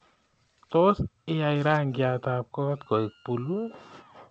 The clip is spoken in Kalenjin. Tos iyai rangyatab koot keok puluu